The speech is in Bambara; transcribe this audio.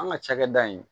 An ka cakɛda in